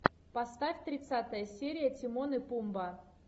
поставь тридцатая серия тимон и пумба